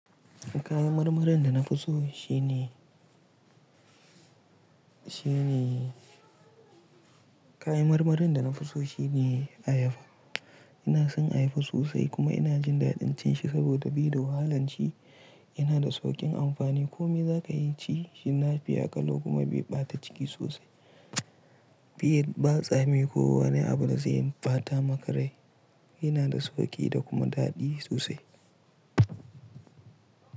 Kayan marmarin da na fi so shine, shine, kayan marmarin da na fi so shine ayaba. Ina son ayaba sosai kuma ina jin dadin cin shi saboda be da wahalan ci yana da saukin amfani. Ko me za ka iya ci shi fiya ƙalo kuma bai ɓata ciki sosai. Be yi ba tsami ko wani abu da zai ɓata maka rai. Yana da sauƙi da kuma daɗi sosai.